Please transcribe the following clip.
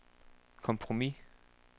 kompromis